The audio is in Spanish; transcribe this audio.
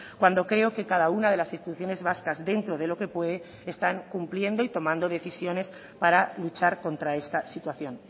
cuando creo que cada una de las instituciones vascas dentro de lo que puede están cumpliendo y tomando decisiones para luchar contra esta situación